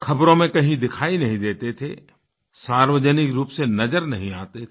ख़बरों में कहीं दिखाई नहीं देते थे सार्वजनिक रूप से नज़र नहीं आते थे